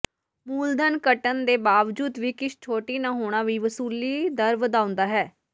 ਮੂਲਧਨ ਘਟਣ ਦੇ ਬਾਵਜੂਦ ਵੀ ਕਿਸ਼ਤ ਛੋਟੀ ਨਾ ਹੋਣਾ ਵੀ ਵਸੂਲੀ ਦਰ ਵਧਾਉਦਾ ਹੈ